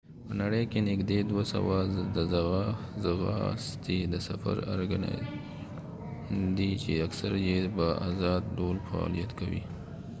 په نړی کې نږدې دوه سوه د ځغاستې د سفر ارکنایزیشنونه دي چې اکثر یې به ازاد ډول فعالیت کوي